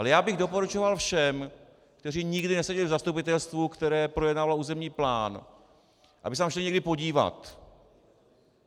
Ale já bych doporučoval všem, kteří nikdy neseděli v zastupitelstvu, které projednávalo územní plán, aby se tam šli někdy podívat.